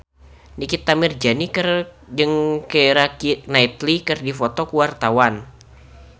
Nikita Mirzani jeung Keira Knightley keur dipoto ku wartawan